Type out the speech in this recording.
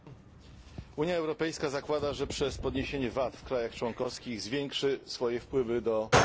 Unia Europejska zakłada, że przez podniesienie podatku VAT w krajach członkowskich zwiększy wpływy do budżetu.